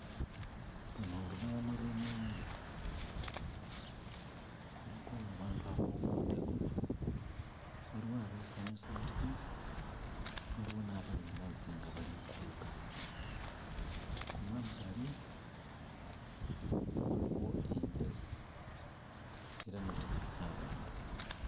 Luno lubalama lw'ennyanja. Kuliko abantu abawumuddeko, waliwo abeesanyusaako, waliwo n'abali mu mazzi nga bali mu kuwuga. Ku mabbali waliwo enjazi era nazo ziriko abantu.